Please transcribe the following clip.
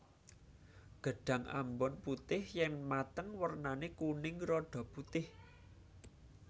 Gedhang ambon putih yen mateng wernane kuning rada putih